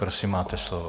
Prosím, máte slovo.